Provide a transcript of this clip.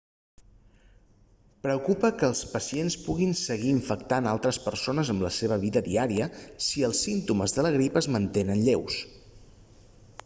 preocupa que els pacients puguin seguir infectant altres persones amb la seva vida diària si els símptomes de la grip es mantenen lleus